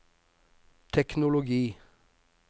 teknologi